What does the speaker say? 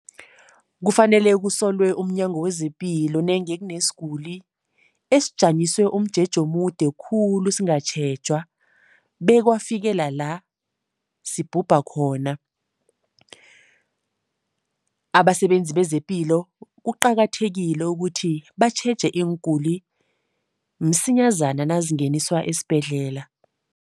Kufanele kusolwe umNyango wezePilo nenge kunesiguli esijanyiswe umjeje omude khulu singatjhejwa, bekwafikela la sibhubha khona. Abasebenzi bezePilo kuqakathekile ukuthi batjheje iinguli msinyazana nazingeniswa esibhedlela.